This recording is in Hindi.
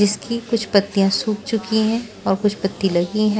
जिसकी कुछ पत्तियां सूख चुकी हैं और कुछ पत्ती लगी है।